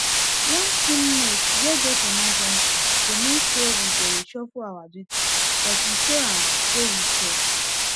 one teammate wey get emergency go mean say we go reshuffle our duty but we show am say we care